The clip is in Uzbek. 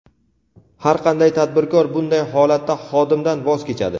har qanday tadbirkor bunday holatda xodimdan voz kechadi.